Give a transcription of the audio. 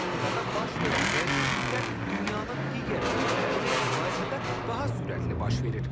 Antarktikada baş verən dəyişikliklər dünyanın digər bölgələri ilə müqayisədə daha sürətli baş verir.